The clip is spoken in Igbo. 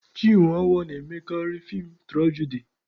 Chinwe owoh na-emekarị feem tụrajadi